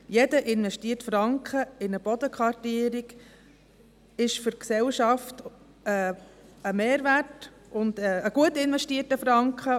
Jeder investierte Franken in eine Bodenkartierung ist ein Mehrwert für die Gesellschaft und ein gut investierter Franken.